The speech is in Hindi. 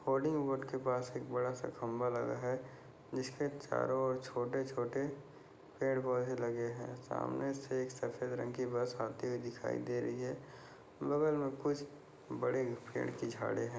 होर्रडिंग बोर्ड के पास एक बडा सा ख्म्बा लगा है जिसके चारो और छोटे छोटे पेड पौधे लगे है सामने से एक सफेद रंग कि बस आती हुई दिखाई दे रही है कुछ बडे पेड कि झाडे है।